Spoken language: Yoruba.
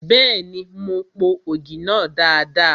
Bẹ́ẹ̀ni, mo po ògì náà dada.